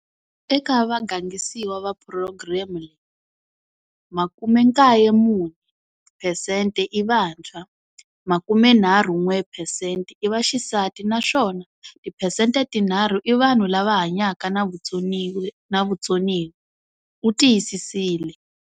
Eka vagangisiwa va phurogireme leyi, 94 phesente i vantshwa, 31 phesente i vaxisati naswona tiphesente tinharhu i vanhu lava hanyaka na vutsoniwa, u tiyisisile.